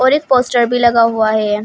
और एक पोस्टर भी लगा हुआ है।